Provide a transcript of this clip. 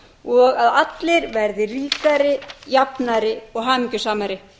og að allir verði ríkari jafnari og hamingjusamari